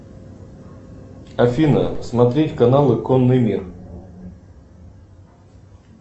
афина смотреть каналы конный мир